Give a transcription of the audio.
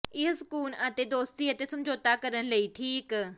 ਇਹ ਸਕੂਨ ਅਤੇ ਦੋਸਤੀ ਅਤੇ ਸਮਝੌਤਾ ਕਰਨ ਲਈ ਠੀਕ